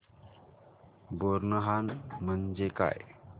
बोरनहाण म्हणजे काय